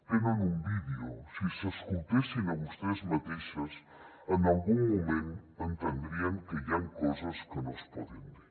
tenen un vídeo si s’escoltessin a vostès mateixes en algun moment entendrien que hi han coses que no es poden dir